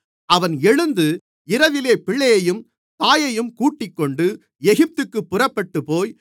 அவன் எழுந்து இரவிலே பிள்ளையையும் தாயையும் கூட்டிக்கொண்டு எகிப்துக்குப் புறப்பட்டுப்போய்